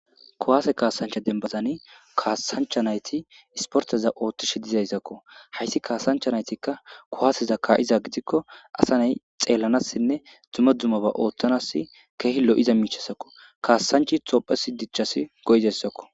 kuwaase kaasancha dembazani kaasanchanayti isporteza ooththish dizayssakko hayssi kaasanchanaytikka kuwaaseza kaa7iza gidikko asaney xeellanassinne dumma dummaba ooththanas keehi lo7iza miichasakko kaassanchi xophes dichchasi go'zayssakko